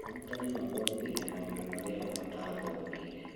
Arutani mathomithagia maũndũ marĩa o mataathomeire